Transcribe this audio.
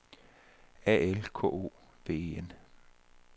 A L K O V E N